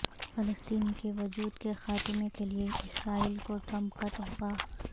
فلسطین کے وجود کے خاتمے کیلئے اسرائیل کو ٹرمپ کا تحفہ